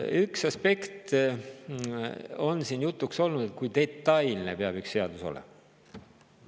Üks aspekt on siin jutuks olnud, et kui detailne peab üks seadus olema.